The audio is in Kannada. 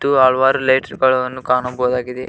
ಇದು ಹಲ್ವಾರ್ ಲೈಟ್ಸ್ ಗಳನ್ನು ಕಾಣಬಹುದಾಗಿದೆ.